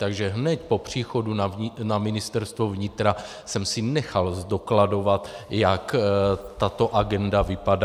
Takže hned po příchodu na Ministerstvo vnitra jsem si nechal zdokladovat, jak tato agenda vypadá.